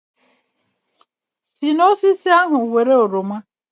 Si n'osisi ahụ Were oroma